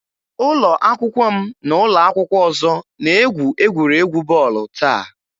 Ụlọ akwụkwọ m na ụlọ akwụkwọ ọzọ na-egwu egwuregwu bọọlụ taa.